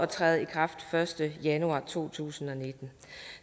træde i kraft første januar to tusind og nitten